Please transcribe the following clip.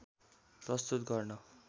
प्रस्तुत गर्न